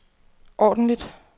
ordentligt